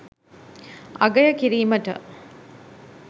අගය කිරීමට